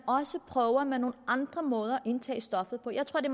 også prøver med nogle andre måder at indtage stoffet på jeg tror det